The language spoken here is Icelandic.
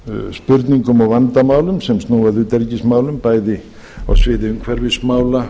spurningum og vandamálum sem snúa að utanríkismálum bæði á sviði umhverfismála